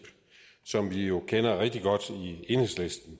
som vi jo kender rigtig godt i enhedslisten